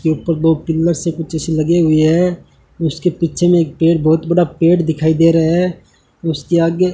लगे हुई है उसके पीछे में एक पेड़ बहुत बड़ा पेड़ दिखाई दे रहा है उसके आगे --